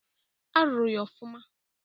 A rụrụ ya ofụma.